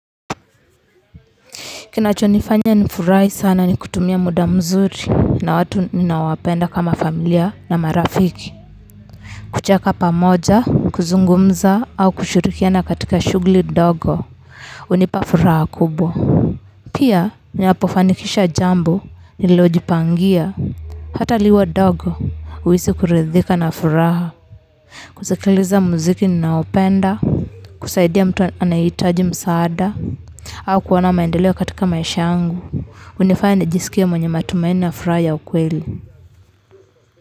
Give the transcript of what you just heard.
Kinachonifanya nifurahi sana ni kutumia muda mzuri na watu ninaowapenda kama familia na marafiki. Kucheka pamoja, kuzungumza au kushurikiana katika shughuli ndogo. Hunipa furaha kubwa. Pia, ninapofanikisha jambo nililojipangia. Hata liwe dogo, najisikia kuridhika na furaha. Kusikiliza muziki ninaoupenda, kusaidia mtu anayehitaji msaada, au kuona maendeleo katika maisha yangu. Inanifanya nijisikie mwenye matumaini na furaha ya ukweli.